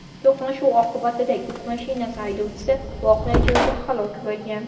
To‘qnashuv oqibatida yuk mashinasi haydovchisi voqea joyida halok bo‘lgan.